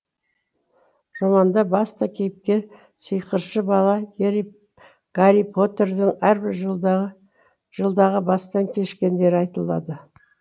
романда басты кейіпкер сиқыршы бала гарри поттердің әрбір жылдағы бастан кешкендері айтылады